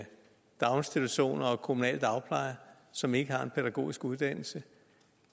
daginstitutioner og kommunal dagpleje som ikke har en pædagogisk uddannelse